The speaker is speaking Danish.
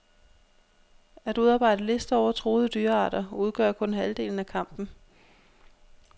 At udarbejde lister over truede dyrearter udgør kun halvdelen af kampen.